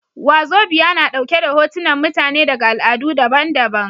Wazobia na ɗauke da hotunan mutane daga al'adu daban daban